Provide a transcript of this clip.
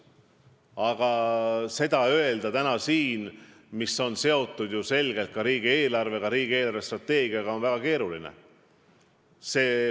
Aga see on ju selgelt seotud riigieelarvega ja riigi eelarvestrateegiaga, nii et täna vastata on väga keeruline.